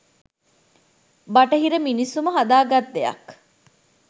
‘බටහිර’ මිනිස්සුම හදා ගත් දෙයක්..